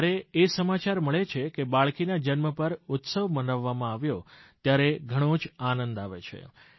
જ્યારે એ સમાચાર મળે છે કે બાળકીના જન્મ પર ઉત્સવ મનાવવામાં આવ્યો ત્યારે ઘણો જ આનંદ આવે છે